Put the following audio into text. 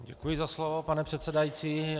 Děkuji za slovo, pane předsedající.